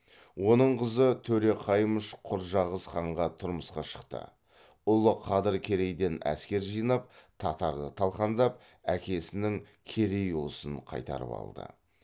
оның қызы төре қаймыш құрджақыз ханға тұрмысқа шықты ұлы қадыр керейден әскер жинап татарды талқандап әкесінің керей ұлысын қайтарып алды